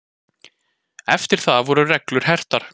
Eftir það voru reglur hertar.